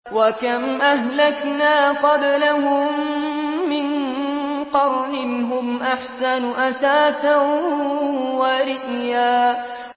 وَكَمْ أَهْلَكْنَا قَبْلَهُم مِّن قَرْنٍ هُمْ أَحْسَنُ أَثَاثًا وَرِئْيًا